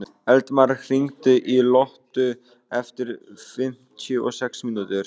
Eldmar, hringdu í Lottu eftir fimmtíu og sex mínútur.